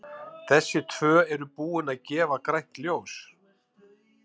Þessi tvö eru búin að gefa grænt ljós.